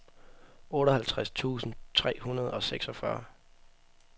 otteoghalvtreds tusind tre hundrede og seksogfyrre